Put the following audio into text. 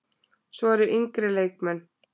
Svo eru yngri leikmenn.